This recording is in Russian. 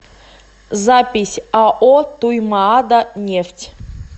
запись ао туймаада нефть